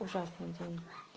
ужасный день